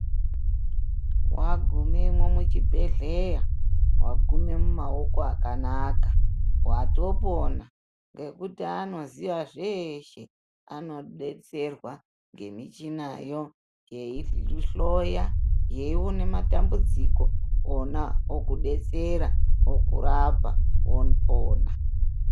Wa gumwemwo mu chibhedhleya wagume mu maoko aka watopona ngekuti anoziya zveshe ano detserwa nge michina yo yei hloya yei ona matambudziko ona okudetsera oku rapa wopona.